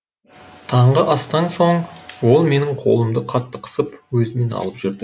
таңғы астан соң ол менің қолымды қатты қысып өзімен алып жүрді